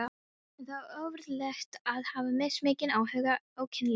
En það er ofureðlilegt að hafa mismikinn áhuga á kynlífi.